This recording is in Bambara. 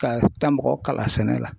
Ka taa mɔgɔ kala sɛnɛ la.